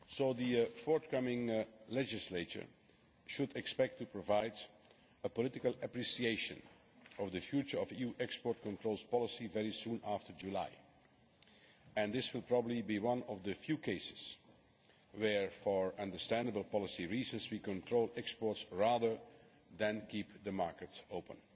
The forthcoming legislature should expect to provide a political appreciation of the future of EU export controls policy very soon after July and this will probably be one of the few cases where, for understandable policy reasons, we control exports rather than keeping the markets open.